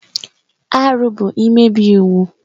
Arụ bụ imebi iwu.